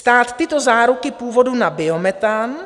Stát tyto záruky původu na biometan